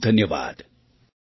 ખૂબ ખૂબ ધન્યવાદ